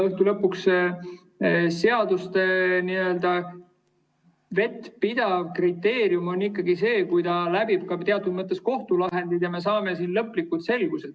Õhtu lõpuks on seaduste n‑ö vettpidavuse kriteerium ikkagi see, kui on teatud mõttes kohtulahendid ja me saame lõplikult selguse.